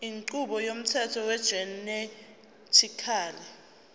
inqubo yomthetho wegenetically